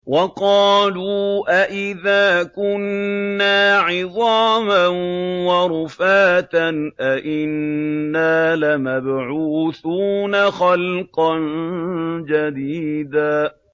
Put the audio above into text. وَقَالُوا أَإِذَا كُنَّا عِظَامًا وَرُفَاتًا أَإِنَّا لَمَبْعُوثُونَ خَلْقًا جَدِيدًا